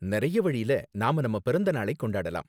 நிறைய வழில நாம நம்ம பிறந்த நாளை கொண்டாடலாம்.